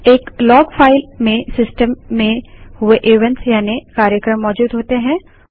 एक log file में system में हुए इवेंट्स यानि कार्यक्रम मौजूद होते हैं